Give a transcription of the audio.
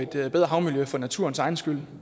bedre havmiljø for naturens egen skyld